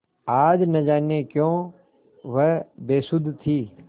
आज न जाने क्यों वह बेसुध थी